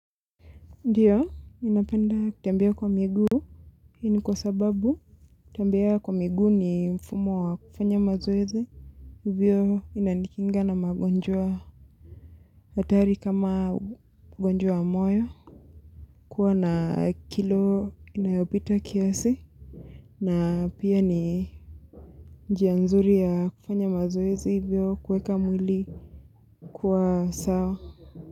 Ndiyo, ninapenda kutembea kwa miguu. Hii ni kwa sababu, kutembea kwa miguu ni mfumo wa kufanya mazoezi. Hivyo inanikinga na magonjwa hatari kama ugonjwa wa moyo. Kuwa na kilo inayopita kiasi. Na pia ni njia nzuri ya kufanya mazoezi hivyo kuweka mwili. Kuwa sawa.